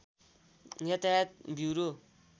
यातायात ब्युरो